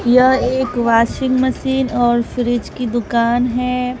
यह एक washing machine और फ्रिज की दुकान है।